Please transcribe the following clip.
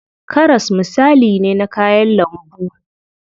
Karas misali ne na kayan lambu.